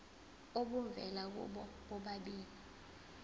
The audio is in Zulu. obuvela kubo bobabili